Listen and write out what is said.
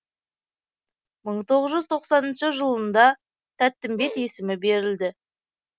мың тоғыз жүз тоқсаныншы жылында тәттімбет есімі берілді